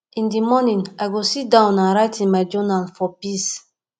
in the morning i go sit down and write in my journal for peace